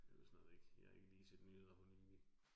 Jeg ved snart ikke, jeg har ikke lige set nyheder for nylig